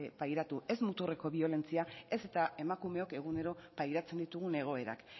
pairatu ez muturreko biolentzia ez eta emakumeok egunero pairatzen ditugun egoerak